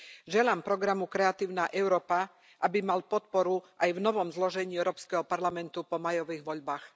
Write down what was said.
Želám programu Kreatívna Európa, aby mal podporu aj v novom zložení Európskeho parlamentu po májových voľbách.